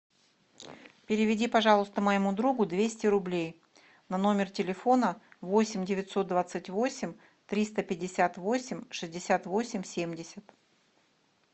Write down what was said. переведи пожалуйста моему другу двести рублей на номер телефона восемь девятьсот двадцать восемь триста пятьдесят восемь шестьдесят восемь семьдесят